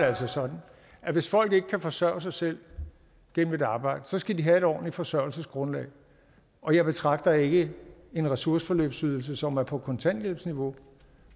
altså sådan at hvis folk ikke kan forsørge sig selv gennem et arbejde skal de have et ordentligt forsørgelsesgrundlag og jeg betragter ikke en ressourceforløbsydelse som er på kontanthjælpsniveau